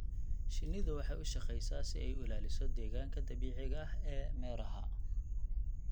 Shinnidu waxay u shaqeysaa si ay u ilaaliso deegaanka dabiiciga ah ee meeraha.